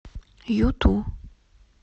юту